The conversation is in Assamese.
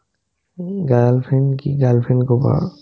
উম্, girlfriend কি girlfriend ক'বা